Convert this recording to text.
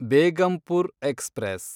Begampur express